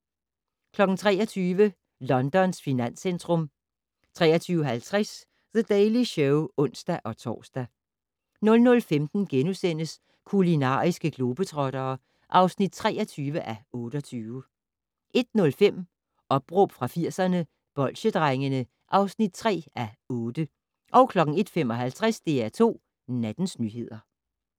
23:00: Londons finanscentrum 23:50: The Daily Show (ons-tor) 00:15: Kulinariske globetrottere (23:28)* 01:05: Opråb fra 80'erne - Bolsjedrengene (3:8) 01:55: DR2 Nattens nyheder